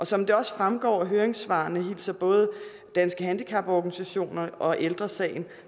som det også fremgår af høringssvarene hilser både danske handicaporganisationer og ældre sagen